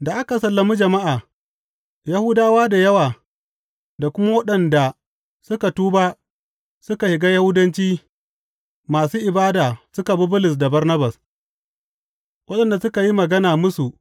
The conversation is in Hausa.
Da aka sallami jama’a, Yahudawa da yawa da kuma waɗanda suka tuba suka shiga Yahudanci masu ibada suka bi Bulus da Barnabas, waɗanda suka yi magana musu